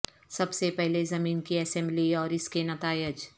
سب سے پہلے زمین کی اسمبلی اور اس کے نتائج